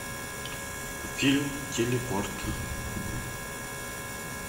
фильм телепорт